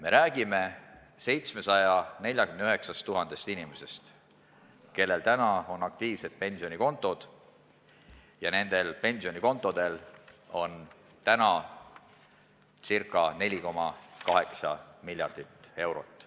Me räägime 749 000 inimesest, kellel täna on aktiivsed pensionikontod, ja nendel pensionikontodel on täna ca 4,8 miljardit eurot.